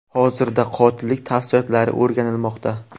Hozirda qotillik tafsilotlari o‘rganilmoqda.